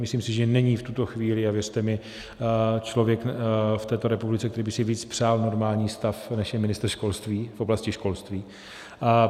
Myslím si, že není v tuto chvíli, a věřte mi, člověk v této republice, který by si víc přál normální stav, než je ministr školství v oblasti školství.